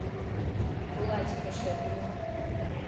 булатика шепелева